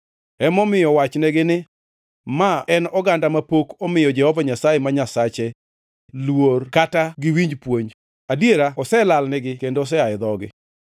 Emomiyo wachnegi ni, ‘Ma en oganda mapok omiyo Jehova Nyasaye ma Nyasache luor kata ok giwinj puonj. Adiera oselalnigi; kendo osea e dhogi.